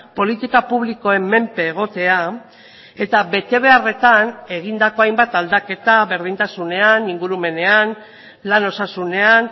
politika publikoen menpe egotea eta betebeharretan egindako hainbat aldaketa berdintasunean ingurumenean lan osasunean